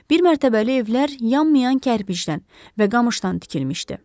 Bir mərtəbəli evlər yanmayan kərpicdən və qamışdan tikilmişdi.